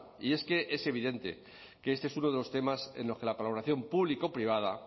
y es que es evidente que este es uno de los temas en los que la colaboración público privada